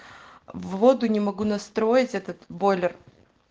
в воду не могу настроить этот бойлер